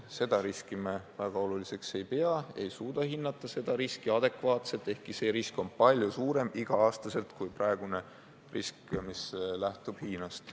Seda riski me väga oluliseks ei pea, me ei suuda seda adekvaatselt hinnata, ehkki see risk on igal aastal palju suurem kui praegune, mis lähtub Hiinast.